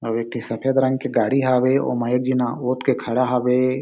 अउ एक ठी सफ़ेद रंग के गाड़ी हावे ओमा एक जिन्हा ओथ के खड़ा हावे--